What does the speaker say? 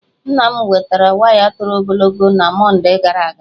Nna m wetara waya toro ogologo na Mọndee gara aga.